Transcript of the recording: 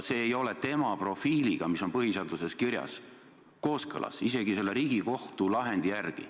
See ei ole tema profiiliga, mis on põhiseaduses kirjas, kooskõlas, isegi selle Riigikohtu lahendi järgi.